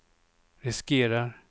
riskerar